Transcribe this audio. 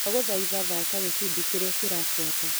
Ndagũthaitha thaka gĩbindi kĩrĩa kĩrabuata .